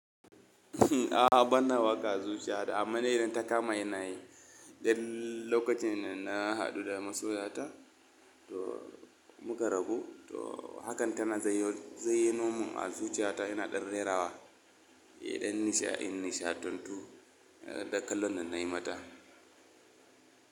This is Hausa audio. A'a bana wa kazuciya da amanai idan ta kama yana yi. Dan lokacin da na haɗu da masoya ta to mukan rabu to hakan tana zayyanomin a zuciyata yana ɗan rera wa idan nishaɗi, nishaɗantu da kallon nan na yi mata.